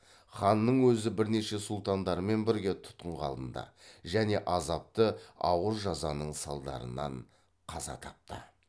ханның өзі бірнеше сұлтандарымен бірге тұтқынға алынды және азапты ауыр жазаның салдарынан қаза тапты